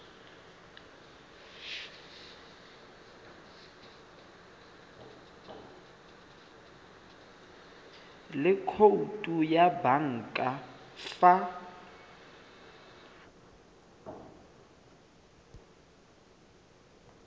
le khoutu ya banka fa